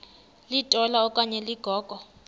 litola okanye ligogo